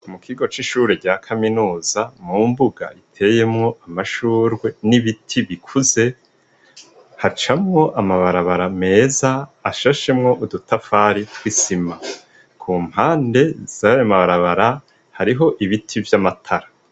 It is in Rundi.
Mu kigo c'ishure rya kaminuza, mu mbuga iteyemwo amashugwe n'ibiti bikuze hacamwo amabarabara meza ashashemwo udutafari tw'isima, kumpande zayo mabarabara hariho ibiti vy'amatara.